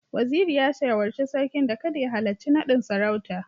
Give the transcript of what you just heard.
Waziri ya shawarci Sarkin da kada ya halarci nadin sarauta